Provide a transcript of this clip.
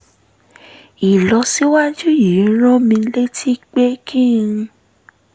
ìlọsíwájú yìí rán mi létí pé kí n